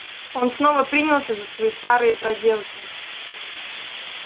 он снова принялся за свои старые проделки